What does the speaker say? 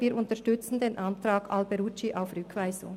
Wir unterstützen den Antrag Alberucci auf Rückweisung.